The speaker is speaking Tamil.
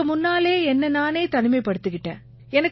இதுக்கு முன்னாலயே என்னை நானே தனிமைப்படுத்திக்கிட்டேன்